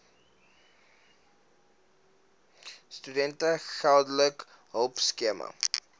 studente geldelike hulpskema